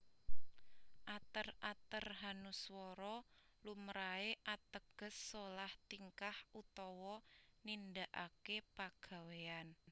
Ater ater hanuswara lumrahé ateges solah tingkah utawa nindakaké pagawèyan